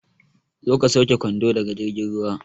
Zo ka sauke kwando daga jirgin ruwa